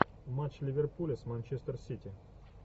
матч ливерпуля с манчестер сити